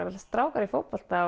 allt strákar í fótbolta